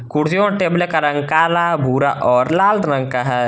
कुर्सियों और टेबलों का रंग कला भूरा और लाल रंग का है।